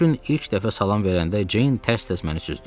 O gün ilk dəfə salam verəndə Ceyn tərs-tərs məni süzdü.